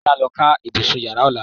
Kọ́lá ló kan ibùsùn Ìyàrá Ọlá.